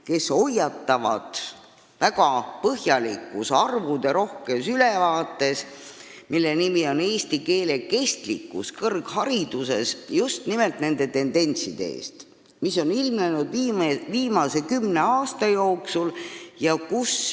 Nemad hoiatavad väga põhjalikus ja arvuderohkes ülevaates "Eesti keele kestlikkus kõrghariduses" just nimelt nende tendentside eest, mis on ilmnenud viimase kümne aasta jooksul.